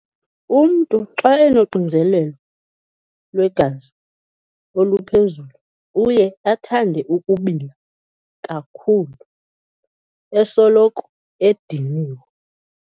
Umntu xa enoxinzelelo lwegazi oluphezulu uye athande ukubila kakhulu, esoloko ediniwe.